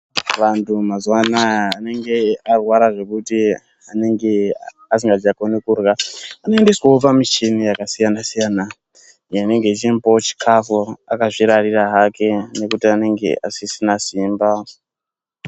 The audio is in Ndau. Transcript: Bantu mazuva anaya anenge arwara zvekuti anenge asingacha gone kudya, anondoiswe pamichini yakasiyana siyana inenge ichimupawo chikafu akazvirarira hake nekuti anenge asisina simba.